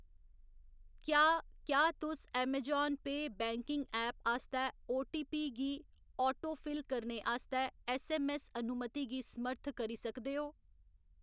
क्या क्या तुस ऐमाजान पेऽ बैंकिंग ऐप आस्तै आटोपी गी आटोफिल करने आस्तै ऐस्सऐम्मऐस्स अनुमती गी समर्थ करी सकदे ओ ?